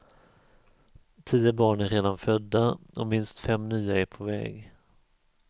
Tio barn är redan födda och minst fem nya är på väg.